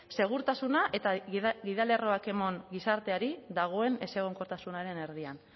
segurtasuna eta gidalerroak emon gizarteari dagoen ezegonkortasunaren erdian